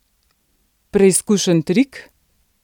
Preizkušen trik?